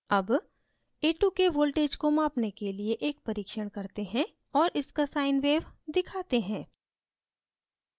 अब a2 के voltage को मापने के लिए एक परीक्षण करते हैं और इसका sine wave sine तरंग दिखाते हैं